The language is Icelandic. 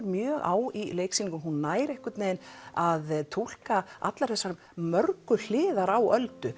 mjög á í leiksýningunni hún nær að túlka alla þessa mörgu hliðar á Öldu